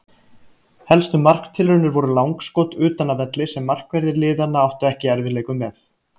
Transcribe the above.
Helstu marktilraunir voru langskot utan af velli sem markverðir liðanna áttu ekki í erfiðleikum með.